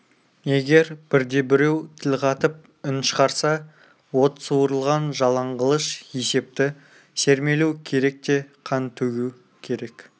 егер бірде-біреу тіл қатып үн шығарса от суырылған жалаң қылыш есепті сермелу керек те қан төгу керек